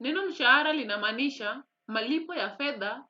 Neno mshahara linamaanisha malipo ya fedha